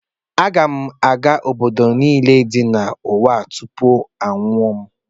Aga m aga obodo niile dị n’ụwa tupu m anwụọ